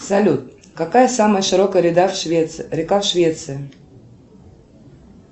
салют какая самая широкая река в швеции